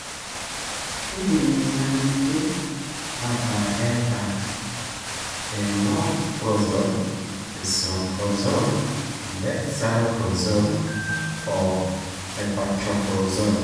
keidim inaanyaanyukie aataa keeta eomoprazole, esomeprazole, endexlansoprazole o epantoprazole.